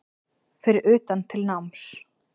Fer utan til náms